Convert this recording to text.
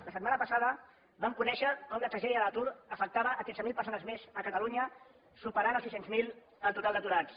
la setmana passada vam conèixer com la tragèdia de l’atur afectava tretze mil persones més a catalunya i superava els sis cents miler el total d’aturats